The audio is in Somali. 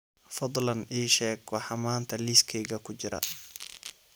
fadlan ii sheeg waxa maanta liiskayga ku jira